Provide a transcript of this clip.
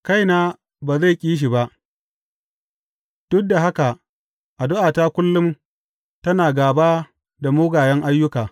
Kaina ba zai ƙi shi ba, duk da haka addu’ata kullum tana gāba da mugayen ayyuka.